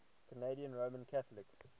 canadian roman catholics